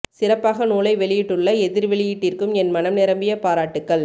சிறப்பாக நூலை வெளியிட்டுள்ள எதிர் வெளியீட்டிற்கும் என் மனம் நிரம்பிய பாராட்டுகள்